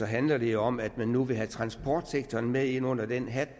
handler det om at man nu vil have transportsektoren med ind under den hat